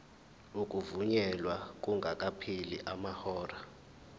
ukuvunyelwa kungakapheli amahora